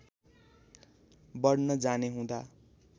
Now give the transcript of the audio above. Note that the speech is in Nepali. बढ्न जाने हुँदा